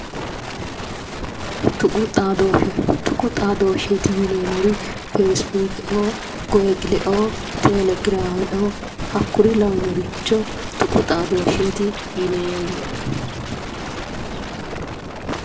Tuqu xaadoshe tuqu xaadosheeti yineemor fesi booke"oo google"oo telegraame"oo hakkuri lawinoricho tuqu xaadosheeti yineemo